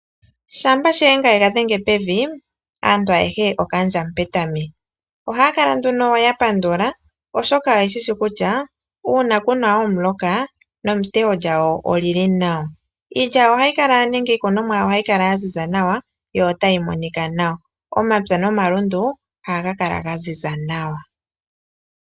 Shampa shiyenga ega dhenge pevi aantu ayehe okaandja Mupetami, ohaya kala nduno ya pandula oshoka oye shishi kutya uuna kuna omuloka netewo lyawo olili nawa. Iilya ohayi kala nenge iiikunomwa yawo ohayi kala ya ziza nawa yo otayi monika nawa. Omapya nomalundu ohaga kala gaziza nawa.